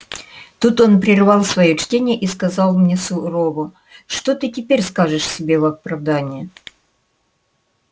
тут он прервал своё чтение и сказал мне сурово что ты теперь скажешь себе в оправдание